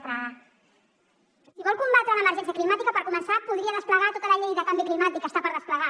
si vol combatre l’emergència climàtica per començar podria desplegar tota la llei de canvi climàtic que està per desplegar